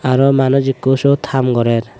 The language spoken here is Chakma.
aro manuj ekku sot ham gorer.